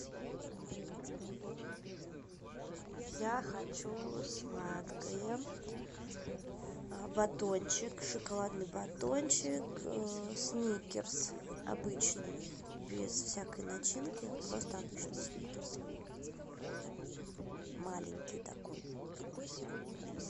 я хочу сладкое батончик шоколадный батончик сникерс обычный без всякой начинки просто обычный сникерс маленький такой